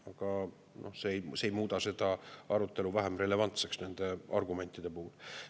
Aga see ei muuda seda arutelu vähem relevantseks nende argumentide puhul.